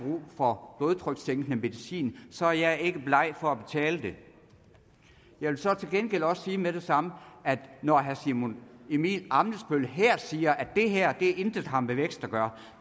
for blodtrykssænkende medicin så er jeg ikke bleg for at betale det jeg vil så til gengæld også sige med det samme at når herre simon emil ammitzbøll her siger at det her intet har med vækst at gøre